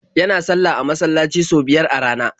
Yana sallah a masallaci sau biyar a rana.